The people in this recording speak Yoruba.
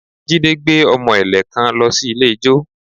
Jide gbé ọmọ ẹ̀lẹ̀ kan lọ sí ilé ijó